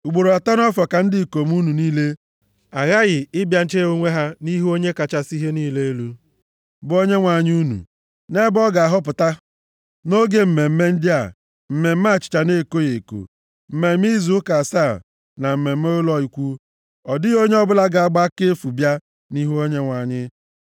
Ugboro atọ nʼafọ ka ndị ikom unu niile aghaghị ịbịa chee onwe ha nʼihu Onye kachasị ihe niile elu, bụ Onyenwe anyị unu, nʼebe ọ ga-ahọpụta: nʼoge mmemme ndị a: Mmemme Achịcha na-ekoghị eko, Mmemme Izu Ụka asaa na Mmemme Ụlọ Ikwu. Ọ dịghị onye ọbụla ga-agba aka efu bịa nʼihu Onyenwe anyị.